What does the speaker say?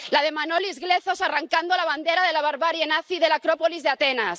la de Manolis Glezos arrancando la bandera de la barbarie nazi de la Acrópolis de Atenas